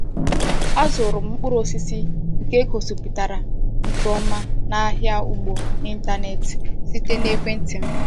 Azụrụ m mkpụrụ osisi nke e gosipụtara nke ọma n’ahịa ugbo n’ịntanetị site na ekwenti m.